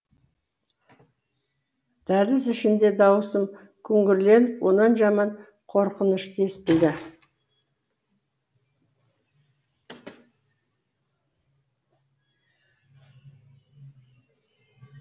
дәліз ішінде даусым күңгірлеп онан жаман қорқынышты естілді